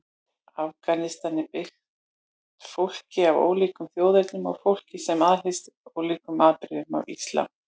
Afganistan er byggt fólki af ólíkum þjóðernum og fólki sem aðhyllist ólík afbrigði af islam.